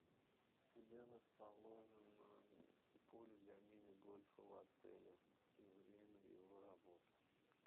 где расположено поле для мини гольфа в отеле и время его работы